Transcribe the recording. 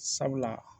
Sabula